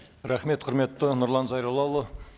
рахмет құрметті нұрлан зайроллаұлы